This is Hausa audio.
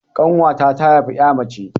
Ƙanwata ta haifi 'ya mace.